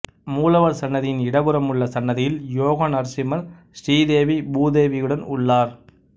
மூலவர் சன்னதியின் இடப்புறம் உள்ள சன்னதியில் யோகநரசிம்மர் ஸ்ரீதேவி பூதேவியுடன் உள்ளார்